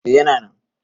A yana nan